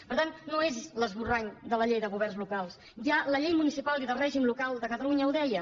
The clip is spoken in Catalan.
per tant no és l’esborrany de la llei de governs locals ja la llei municipal i de règim local de catalunya ho deia